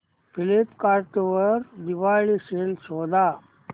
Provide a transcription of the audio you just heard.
Flipkart वर Diwali sale शोधा